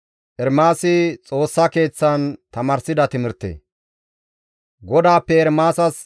GODAAPPE Ermaasas yida qaalay hayssafe kaalli dizayssa;